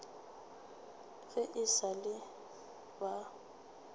ge e sa le ba